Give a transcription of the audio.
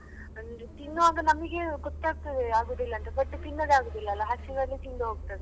ತಿನ್ನುವಾಗ ನಮ್ಗೆ ಗೊತ್ತಾಗ್ತದೆ ಆಗುದಿಲ್ಲ ಅಂತ but ತಿನ್ನದೇ ಆಗುದಿಲ್ಲ ಅಲ್ಲ ಹಸಿವಾದ್ರೆ ತಿಂದು ಹೋಗ್ತದೆ .